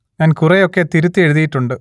ഞാൻ കുറെ ഒക്കെ തിരുത്തി എഴുതിയിട്ടുണ്ട്